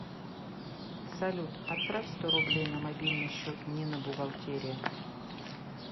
салют отправь сто рублей на мобильный счет нина бухгалтерия